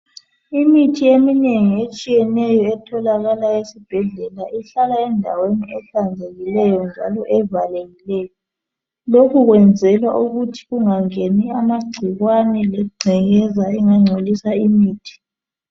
Imithi eminengi etshiyeneyo etholakala esibhedlela ihlakala endaweni ehlanzekileyo njalo evalekileyo lokhu kwenzelwa ukuthi kungangeni amagcikwane lengcekeza engangcolisa imithi.